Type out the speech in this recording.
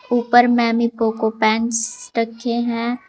ऊपर MamyPoko pants रखे हैं।